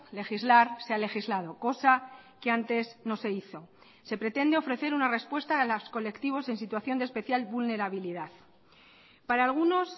legislar se ha legislado cosa que antes no se hizo se pretende ofrecer una respuesta a los colectivos en situación de especial vulnerabilidad para algunos